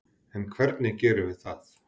En hvernig gerum við það?